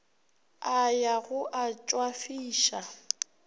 a ya go a tšwafiša